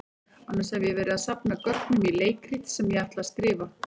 Annars hef ég verið að safna gögnum í leikrit sem ég ætla að skrifa.